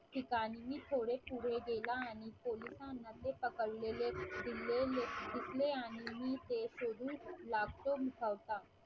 ठिकाणी मी थोडे पुढे गेला आणि पोलिसांना ते पकडलेले दिलेले घेतले आणि मी ते शोधू लागतो मुखवटा